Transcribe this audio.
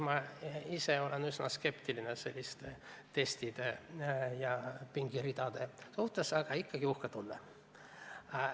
Ma ise olen küll üsna skeptiline selliste testide ja pingeridade suhtes, aga ikkagi – uhke tunne.